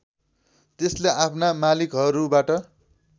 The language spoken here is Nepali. त्यसले आफ्ना मालिकहरूबाट